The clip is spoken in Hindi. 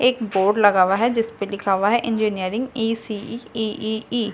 एक बोर्ड लगा हुआ है जिसपे लिखा हुआ है engineering E C E E ई।